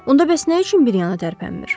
Onda bəs nə üçün bir yana tərpənmir?